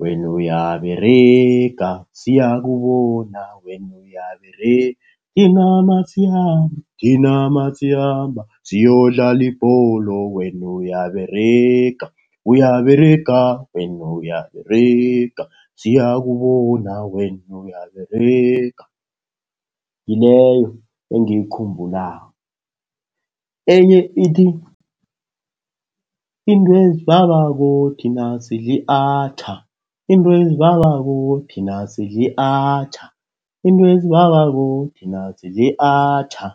wena uyaberega, siyakubona, wena uyaberega. Thina nasikhamba, thina nasikhamba siyokudlala ibholo wena uyaberega. Uyaberega, wena uyaberega, siyakubona, wena uyaberega. Ngileyo engiyikhumbulako. Enye ithi, intwe ezibabako thina sidli atjha. Intwe ezibabako thina sidli atjha. Into ezibabako thina sidli atjha.